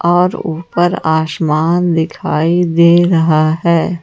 और ऊपर आसमान दिखाई दे रहा है।